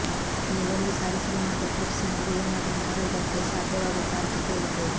ನೀವು ಒಂದು ಸಾರಿ ಸಿನಿಮಾದ ಕ್ಲಿಪ್ಸ್ ನೋಡಿ ಏನಾದ್ರು ಮಾಡುವುದಕ್ಕೆ ಸಾಧ್ಯವಾಗುತ್ತಾ ಅಂತ ಕೇಳಿದೆ